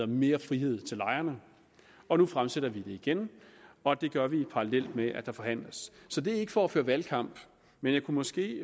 mere frihed til lejerne og nu fremsætter vi det igen og det gør vi parallelt med at der forhandles så det er ikke for at føre valgkamp men jeg kunne måske